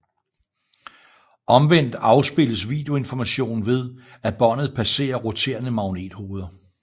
Omvendt afspilles videoinformationen ved at båndet passerer roterende magnethoveder